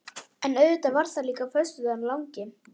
En auðvitað var það líka föstudagurinn langi.